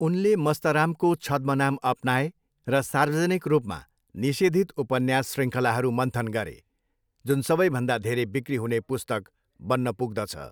उनले मस्तरामको छद्म नाम अपनाए र सार्वजनिक रूपमा निषेधित उपन्यास शृङ्खलाहरू मन्थन गरे, जुन सबैभन्दा धेरै बिक्री हुने पुस्तक बन्न पुग्दछ।